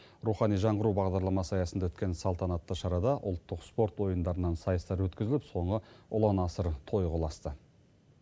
рухани жаңғыру бағдарламасы аясында өткен салтанатты шарада ұлттық спорт ойындарынан сайыстар өткізіліп соңы ұлан асыр тойға ұласты